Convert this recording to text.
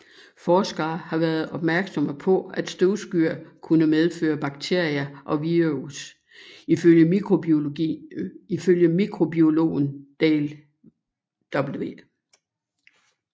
Forskere har været opmærksomme på at støvskyer kunne medføre bakterier og virus Ifølge mikrobiologen Dale W